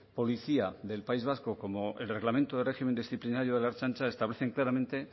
policía del país vasco como el reglamento de régimen disciplinario de la ertzaintza establecen claramente